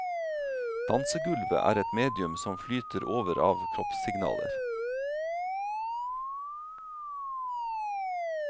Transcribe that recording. Dansegulvet er et medium som flyter over av kroppssignaler.